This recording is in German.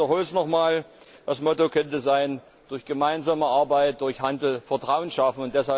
Ich wiederhole es noch einmal, das Motto könnte sein Durch gemeinsame Arbeit, durch Handel, Vertrauen schaffen.